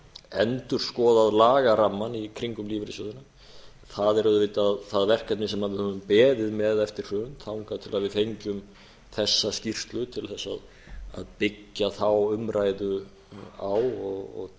endurskoðað lagarammann í kringum lífeyrissjóðina það er auðvitað það verkefni sem við höfum beðið með eftir hrun þangað til við fengjum þessa skýrslu til þess að byggja þá umræðu á og